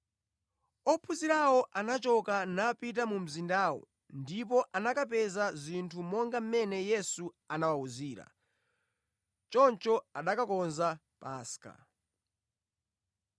Ophunzirawo anachoka, napita mu mzindawo ndipo anakapeza zinthu monga mmene Yesu anawawuzira. Choncho anakakonza Paska.